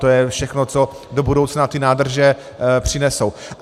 To je všechno, co do budoucna ty nádrže přinesou.